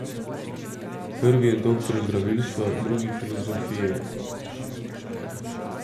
Prvi je doktor zdravilstva, drugi filozofije.